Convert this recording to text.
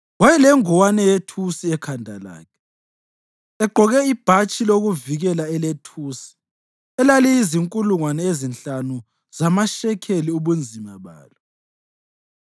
Wayelengowane yethusi ekhanda lakhe, egqoke ibhatshi lokuvikela elethusi elaliyizinkulungwane ezinhlanu zamashekeli ubunzima balo,